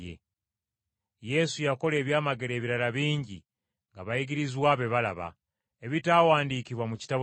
Yesu yakola ebyamagero ebirala bingi ng’abayigirizwa be balaba, ebitaawandiikibwa mu kitabo kino.